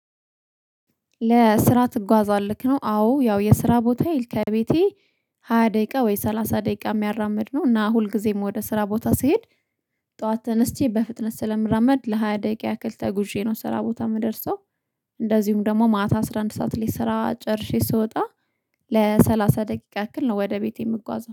ለስራ ትጓዛለህ ነው አዎ ያው የስራ ቦታዬ ከቤቴ ሃያ ደቂቃ ወይ ሰላሳ ደቂቃ የሚያራምድ ነው። እና ሁልጊዜም ወደ ስራ ቦታ ስሄድ ጠዋት ተነስቼ በፍጥነት ስለምራመድ ለሃያ ደቂቃ ያክል ተጉዤ ነው ስራ ቦታ የምደርሰው። እንደዚሁም ደግሞ ማታ አስራ አንድ ሰዓት ላይ ስራ ጨርሼ ስወጣ ለሠላሳ ደቂቃ ያክል ነው ወደ ቤቴ የምጓዘው